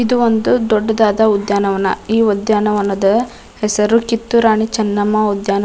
ಇದು ಒಂದು ದೊಡ್ಡದಾದ ಉದ್ಯಾನವನ ಈ ಉದ್ಯಾನವನದ ಹೆಸರು ಕಿತ್ತೂರು ರಾಣಿ ಚೆನ್ನಮ್ಮ ಉದ್ಯಾನ --